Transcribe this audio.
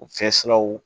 U fɛsiruw